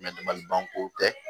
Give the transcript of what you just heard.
kow tɛ